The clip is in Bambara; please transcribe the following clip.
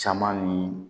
Caman ni